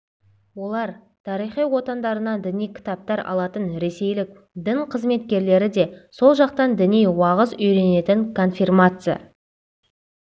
олар тарихи отандарынан діни кітаптар алатын ресейлік дін қызметкерлері де сол жақтан діни уағыз үйренетін конфирмация